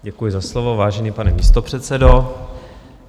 Děkuji za slovo, vážený pane místopředsedo.